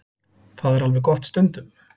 Það er alveg gott stundum.